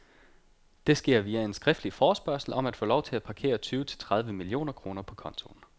Det sker via en skriftlig forespørgsel om at få lov til at parkere tyve til tredive millioner kroner på kontoen.